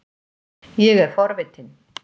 Ég er forvitin.